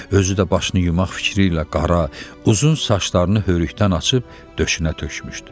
Özü də başını yumaq fikri ilə qara, uzun saçlarını hörükdən açıb döşünə tökmüşdü.